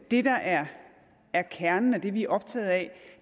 det der er er kernen og det vi er optaget af